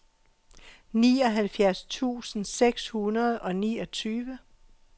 nioghalvfjerds tusind seks hundrede og niogtyve